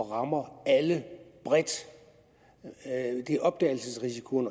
rammer alle bredt det er opdagelsesrisikoen